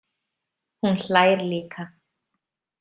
Hún hlær líka.